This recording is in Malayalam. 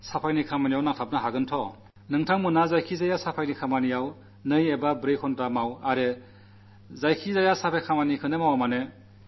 അന്ന് ഒരു പൌരനെന്ന നിലയിൽ മാലിന്യങ്ങൾ നീക്കം ചെയ്യുന്നതിൽ സ്വയം പങ്കാളിയാകാനാകില്ലേ 2 മണിക്കൂർ 4 മണിക്കൂർ നേരിട്ട് ഇതിൽ പങ്കാളിയാകുക